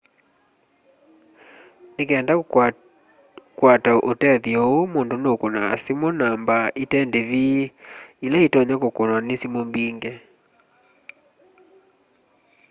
ni kenda kukwata tethyo uu mundu nu kunaa simu namba ite ndivi ila itonya kukunwa ni simu mbingi